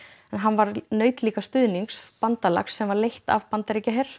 en hann naut stuðnings bandalags sem var leitt af Bandaríkjaher